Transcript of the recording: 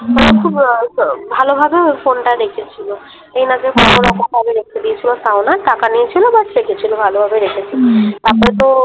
ওরা খুব ব ব ভালো ভাবে ওই ফোনটা রেখেছিলো । এই না যে রকম ভাবে রেখে দিয়েছিলো তাও না টাকা নিয়েছিল But রেখেছিলো ভালো ভাবে রেখেছিলো। হুম হুম তারপরে তো